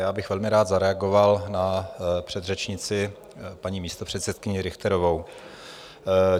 Já bych velmi rád zareagoval na předřečnici, paní místopředsedkyni Richterovou.